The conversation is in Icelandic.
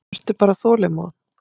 Vertu bara þolinmóð.